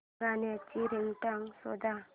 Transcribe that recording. गाण्याची रिंगटोन शोध